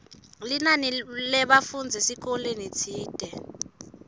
linani lebafundzi esikolweni tsite